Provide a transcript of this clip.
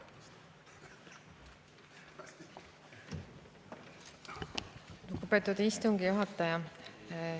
Lugupeetud istungi juhataja!